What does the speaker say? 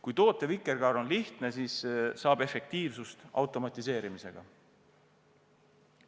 Kui tootevikerkaar on lihtne, siis saab efektiivsust automatiseerimisega.